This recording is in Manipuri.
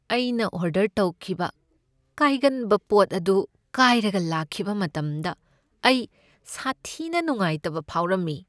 ꯑꯩꯅ ꯑꯣꯗꯔ ꯇꯧꯈꯤꯕ ꯀꯥꯏꯒꯟꯕ ꯄꯣꯠ ꯑꯗꯨ ꯀꯥꯏꯔꯒ ꯂꯥꯛꯈꯤꯕ ꯃꯇꯝꯗ ꯑꯩ ꯁꯥꯊꯤꯅ ꯅꯨꯉꯥꯏꯇꯕ ꯐꯥꯎꯔꯝꯃꯤ꯫